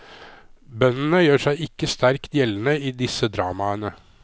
Bøndene gjør seg ikke sterkt gjeldende i disse dramaene.